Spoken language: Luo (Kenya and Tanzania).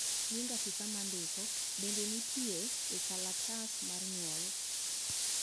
nying afisa ma ndiko bende nitie e kalatas mar nyuol